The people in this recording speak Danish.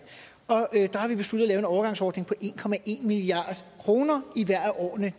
der har vi besluttet at lave en overgangsordning på en milliard kroner i hvert af årene